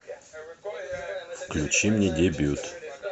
включи мне дебют